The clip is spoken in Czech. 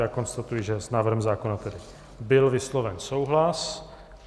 Já konstatuji, že s návrhem zákona tedy byl vysloven souhlas.